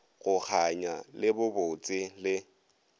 go kganya le bobotse le